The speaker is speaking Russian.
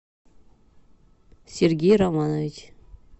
сергей романович